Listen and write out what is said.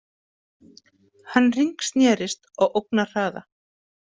Hann hringsnerist á ógnarhraða.